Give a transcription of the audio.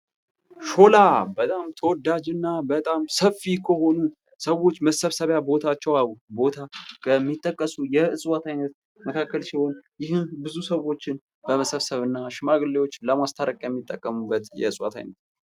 ሾላ በጣም ተወዳጅና በጣም ሰፊ ከሆኑ ሰዎች መሰብሰቢያ ቦታ ከሚጠቀሱ የእጽዋት አይነት መካከል ሲሆን ይህም ብዙ ሰዎችን በመሰብሰብ እና ሽማግሌዎች ለማስተረቂያ የሚጠቀሙበት የእጽዋት አይነት ነው።